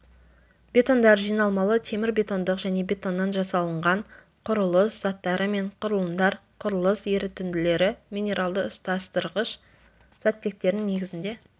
бетондар жиналмалы темірбетондық және бетоннан жасалынған құрылыс заттары мен құрылымдар құрылыс ерітінділері минералды ұстастырғыш заттектердің негізінде